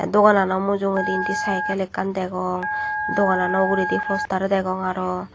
doganano mujungedi indi cykel ekkan dejong doganano uguredi poster degong aro.